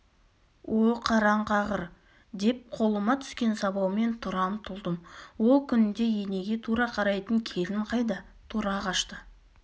о қараңқағыр деп қолыма түскен сабаумен тұра ұмтылдым ол күнде енеге тура қарайтын келін қайда тұра қашты